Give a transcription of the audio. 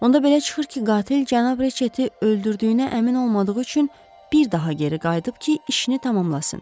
Onda belə çıxır ki, qatil cənab Riçeti öldürdüyünə əmin olmadığı üçün bir daha geri qayıdıb ki, işini tamamlasın.